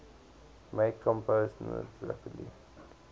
make compost rapidly